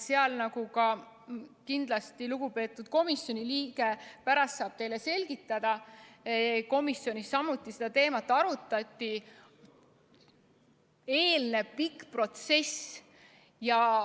Sellele, nagu kindlasti ka lugupeetud komisjoni liige saab pärast teile selgitada – komisjonis samuti seda teemat arutati – eelneb pikk protsess.